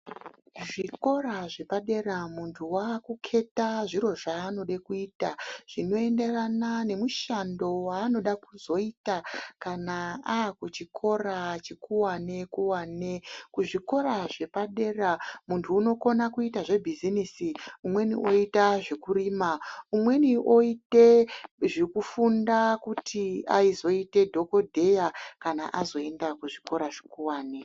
Zvikora zvepadera muntu wakuketa zviro zvaanode kuita zvinoenderana nemushando ,wanoda kuzoita kana akuchikora chekuwane kuwane ,kuzvikora zvepadera muntu unokona kuita zvebhezinisi umweni oita zvekurima umweni oita zvekufunda kuti azoita dhokodheya akana azoenda kuzvikora zvekuwane .